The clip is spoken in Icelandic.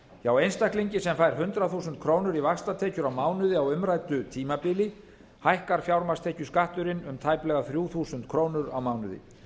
hjá einstaklingi sem fær hundrað þúsund krónur í vaxtatekjur á mánuði á umræddu tímabili hækkar fjármagnstekjuskatturinn um tæplega þrjú þúsund krónur á mánuði